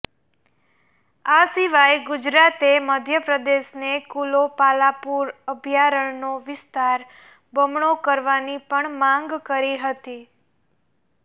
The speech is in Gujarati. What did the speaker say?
આ સિવાય ગુજરાતે મધ્યપ્રદેશને કુનો પાલપુર અભયારણ્યનો વિસ્તાર બમણો કરવાની પણ માંગ કરી હતી